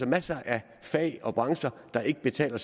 masser af fag og brancher der ikke betaler